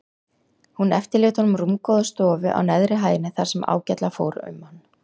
Hún eftirlét honum rúmgóða stofu á neðri hæðinni þar sem ágætlega fór um hann.